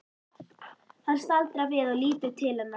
Hann staldrar við og lítur til hennar.